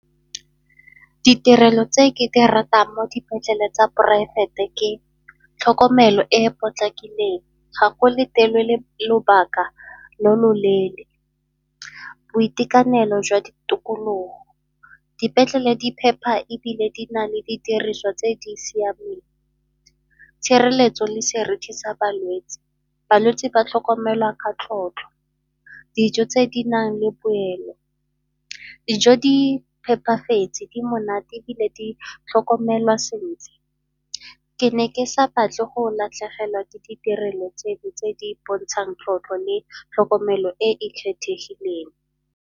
Ditirelo tse ke di ratang mo dipetlele tsa poraefete ke tlhokomelo e e potlakileng, ga ko letelelwe lobaka lo loleele, boitekanelo jwa ditokologo, dipetlele di phepa ebile di na le didiriswa tse di siameng, tshireletso le seriti sa balwetsi, balwetsi batlhokomelwa ka tlotlo, dijo tse di nang le poelo. Dijo di phepafetse, di monate ebile di tlhokomelwa sentle. Ke ne ke sa batle go latlhegelwa ke ditirelo tse di tse di bontshang tlotlo le tlhokomelo e e kgethegileng.